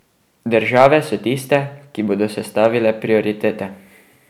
Države so tiste, ki bodo sestavile prioritete.